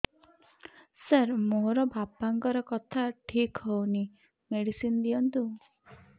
ସାର ମୋର ବାପାଙ୍କର କଥା ଠିକ ହଉନି ମେଡିସିନ ଦିଅନ୍ତୁ